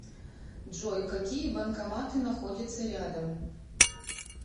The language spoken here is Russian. джой какие банкоматы находятся рядом